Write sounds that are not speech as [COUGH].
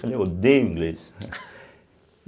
Eu falei: eu odeio inglês, né. [LAUGHS]